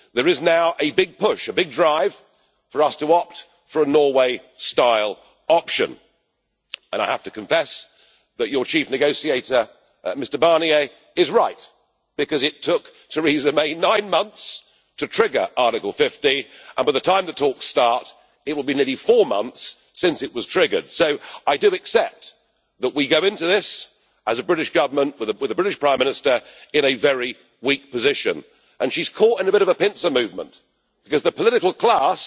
There is now a big push, a big drive, for us to opt for a Norway style option, and I have to confess that your chief negotiator, Mr Barnier, is right it took Theresa May nine months to trigger Article 50, and by the time the talks start it will be nearly four months since it was triggered, so I do accept that we go into this, as a British Government, with a British Prime Minister in a very weak position. And she is caught in a bit of a pincer movement, because the political class